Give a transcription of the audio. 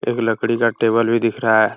एक लकड़ी का टेबल भी दिख रहा है |